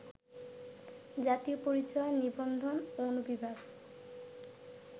জাতীয় পরিচয় নিবন্ধন অনুবিভাগ